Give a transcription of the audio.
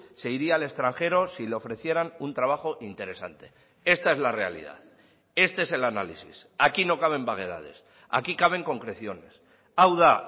se iría al extranjero si le ofrecieran un trabajo interesante esta es la realidad este es el análisis aquí no caben vaguedades aquí caben concreciones hau da